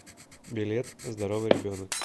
билет здоровый ребенок